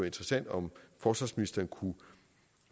interessant om forsvarsministeren